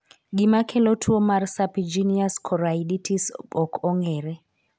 Gima kelo tuo mar serpiginous choroiditis ok ong'ere.